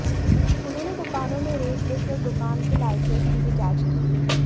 उन्होंने दुकानों में रेट लिस्ट और दुकान के लाइसेंस की भी जांच की